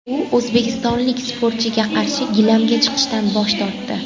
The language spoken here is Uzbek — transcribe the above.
U o‘zbekistonlik sportchiga qarshi gilamga chiqishdan bosh tortdi.